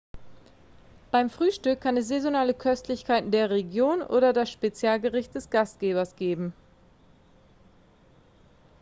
beim frühstück kann es saisonale köstlichkeiten der region oder das spezialgericht des gastgebers geben